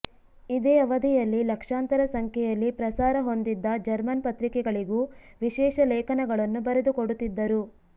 ಇದೇ ಅವಧಿಯಲ್ಲಿ ಲಕ್ಷಾಂತರ ಸಂಖ್ಯೆಯಲ್ಲಿ ಪ್ರಸಾರ ಹೊಂದಿದ್ದ ಜರ್ಮನ್ ಪತ್ರಿಕೆಗಳಿಗೂ ವಿಶೇಷ ಲೇಖನಗಳನ್ನು ಬರೆದುಕೊಡುತ್ತಿದ್ದರು